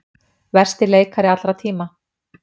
Versti leikari allra tíma